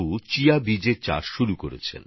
তিনি chia seeds এর চাষ শুরু করেছেন